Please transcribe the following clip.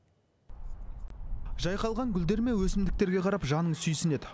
жайқалған гүлдер мен өсімдіктерге қарап жаның сүйсінеді